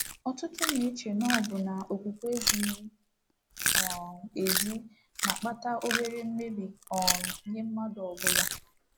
Ọtụtụ na-eche na ọbụna okwukwe ezighi um ezi na-akpata obere mmebi um nye mmadụ ọ bụla.